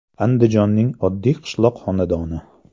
...Andijonning oddiy qishloq xonadoni.